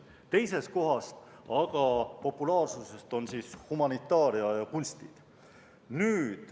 Teisel kohal populaarsuselt on humanitaaria ja kunstid.